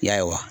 Y'a ye wa